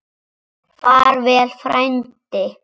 Far vel frændi.